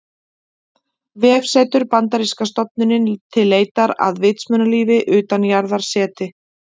Vefsetur: Bandaríska stofnunin til leitar að vitsmunalífi utan jarðar, SETI.